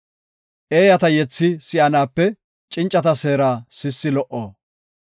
Eeyata yethi si7anaape cincata seera sissi lo77o.